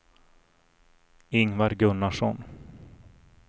Ingvar Gunnarsson